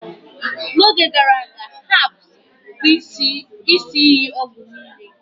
n'oge gara aga, herbs bụ isi iyi ọgwụ niile